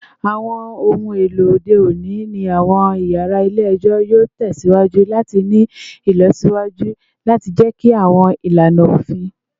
Awọn ohun elo ode oni ni awọn yara ile-ẹjọ yoo tẹsiwaju lati ni ilọsiwaju lati jẹki awọn ilana ofin